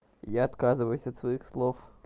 я отказываюсь от своих слов